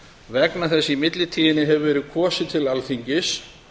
vegna þess að í millitíðinni hefur verið kosið til alþingis